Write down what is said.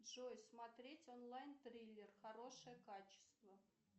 джой смотреть онлайн триллер хорошее качество